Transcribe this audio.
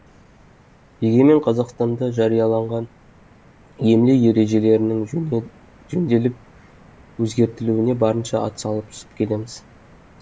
егемен қазақстанда жарияланған емле ережелерінің жөнделіп өзгертілуіне барынша атсалысып келеміз